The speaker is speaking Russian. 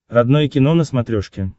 родное кино на смотрешке